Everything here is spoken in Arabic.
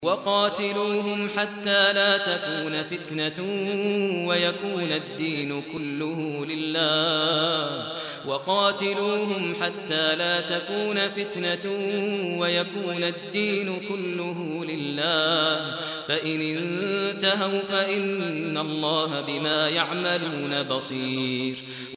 وَقَاتِلُوهُمْ حَتَّىٰ لَا تَكُونَ فِتْنَةٌ وَيَكُونَ الدِّينُ كُلُّهُ لِلَّهِ ۚ فَإِنِ انتَهَوْا فَإِنَّ اللَّهَ بِمَا يَعْمَلُونَ بَصِيرٌ